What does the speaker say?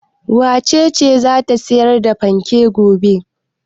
Wace ce za ta sayar da fanken gobe?